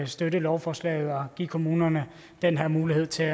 støtte lovforslaget og give kommunerne den her mulighed til at